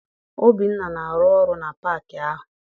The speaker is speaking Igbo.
Obinna na-arụ ọrụ na paakị ahụ.